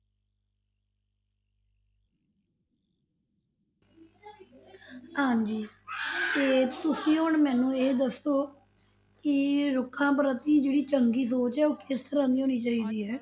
ਹਾਂਜੀ ਤੇ ਤੁਸੀਂ ਹੁਣ ਮੈਨੂੰ ਇਹ ਦੱਸੋ ਕਿ ਰੁੱਖਾਂ ਪ੍ਰਤੀ ਜਿਹੜੀ ਚੰਗੀ ਸੋਚ ਹੈ ਉਹ ਕਿਸ ਤਰ੍ਹਾਂ ਦੀ ਹੋਣੀ ਚਾਹੀਦੀ ਹੈ?